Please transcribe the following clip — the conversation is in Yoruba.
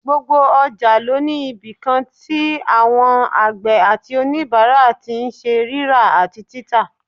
Gbogbo ọjà ló ní ibìkan tí àwọn àgbẹ̀ àti òníbàárà tí n ṣe rírà àti títà